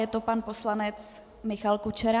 Je to pan poslanec Michal Kučera.